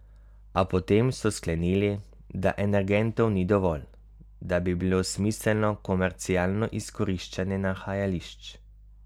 A potem so sklenili, da energentov ni dovolj, da bi bilo smiselno komercialno izkoriščanje nahajališč.